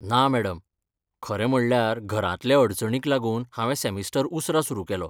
ना मॅडम, खरें म्हणळ्यार घरांतल्या अडचणींक लागून हांवें सॅमिस्टर उसरा सुरू केलो.